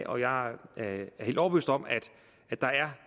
af jeg er helt overbevist om at der